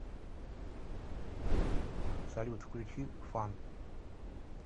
салют включи фан